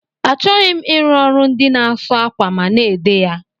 Achọghị m ịrụ ọrụ ndị na asụ akwa ma na-ede ya.